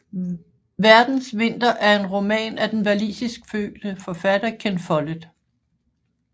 Verdens vinter er en roman af den walisiskfødte forfatter Ken Follett